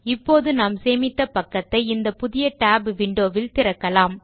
இப்போது நாம் சேமித்த பக்கத்தை இந்த புதிய Tab விண்டோ வில் திறக்கலாம்